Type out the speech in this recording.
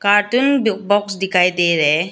Cartoon box दिखाई दे रहा है।